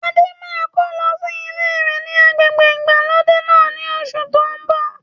Adé máa ko lọ sí ilé rẹ ni agbègbè ìgbàlódé náà ni oṣù to ń bọ̀